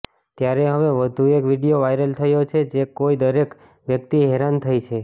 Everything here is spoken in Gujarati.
ત્યારે હવે વધુ એક વીડિયો વાયરલ થયો છે જે જોઈ દરેક વ્યક્તિ હેરાન થઈ છે